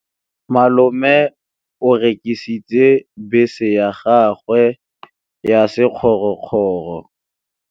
Malome o rekisitse bese ya gagwe ya sekgorokgoro.